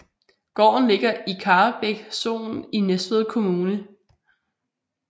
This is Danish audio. Gården ligger i Karrebæk Sogn i Næstved Kommune